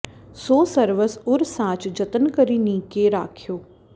सो सर्वस उर साँच जतन करि नीके राख्यो